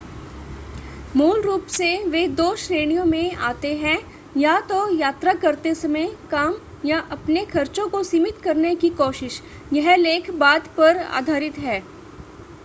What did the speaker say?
मूल रूप से वे दो श्रेणियों में आते हैं या तो यात्रा करते समय काम या अपने खर्चो को सिमित करने की कोशिश यह लेख बाद पर आधारित है